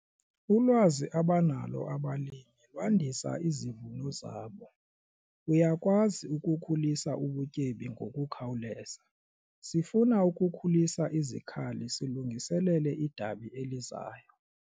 Ulwazi abanalo abalimi lwandisa izivuno zabo. uyakwazi ukukhulisa ubutyebi ngokukhawuleza, sifuna ukukhulisa izikhali silungiselele idabi elizayo